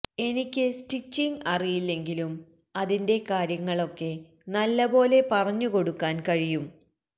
എനിക്ക് സ്റ്റിച്ചിംഗ് അറിയില്ലെങ്കിലും അതിന്റെ കാര്യങ്ങള് ഒക്കെ നല്ലപോലെ പറഞ്ഞു കൊടുക്കാന് കഴിയും